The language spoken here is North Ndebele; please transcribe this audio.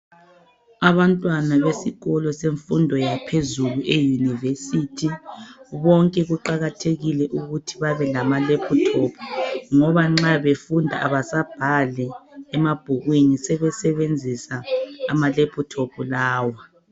Abantwana besikolo semfundo yaphezulu eyunivesiti bonke kuqakathekile ukuthi babe lamaleputopu ngoba nxa befunda abasabhali emabhukwini sebesebenzisa amaleputopu lawa.